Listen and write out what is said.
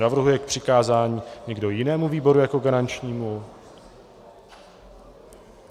Navrhuje k přikázání někdo jinému výboru jako garančnímu?